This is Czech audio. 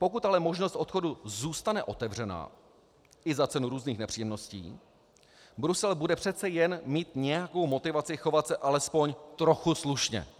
Pokud ale možnost odchodu zůstane otevřená i za cenu různých nepříjemností, Brusel bude přece jen mít nějakou motivaci chovat se alespoň trochu slušně.